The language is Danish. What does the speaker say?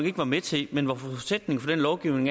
ikke var med til hvor forudsætningen for den lovgivning